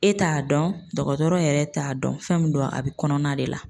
E t'a dɔn dɔgɔtɔrɔ yɛrɛ t'a dɔn fɛn min don a bɛ kɔnɔna de la.